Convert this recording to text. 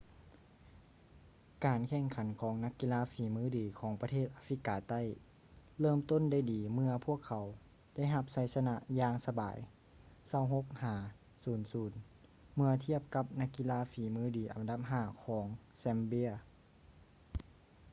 ການແຂ່ງຂັນຂອງນັກກິລາຝີມືດີຂອງປະເທດອາຟຣິກາໃຕ້ເລີ່ມຕົ້ນໄດ້ດີເມື່ອພວກເຂົາໄດ້ຮັບໄຊຊະນະຢ່າງສະບາຍ 26 - 00 ເມື່ອທຽບກັບນັກກິລາຝີມືດີອັນດັບທີ 5 ຂອງ zambia